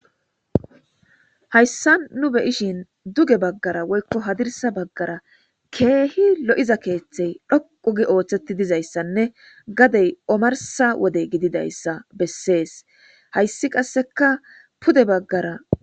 hayssa nu beyishin duge baggara woykko hadirsa baggara keehi lo7iza keeththey dhoqugi ooththetti dizayssanne gadey omarsa wode gididayssa bessees hayssi qasseka pude baggara.